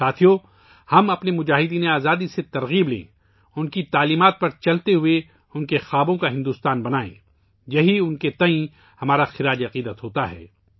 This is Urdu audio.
ساتھیو ، ہم اپنے مجاہدینِ آزادی سے تحریک لیں، ان کے اصولوں پر چلتے ہوئے ، ان کے خوابوں کے بھارت کی تعمیر کریں، یہی ان کے لئے ہمارا خراج عقیدت ہو گا